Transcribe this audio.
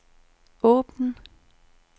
åbn